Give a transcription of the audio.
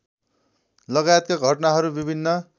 लगायतका घटनाहरू विभिन्न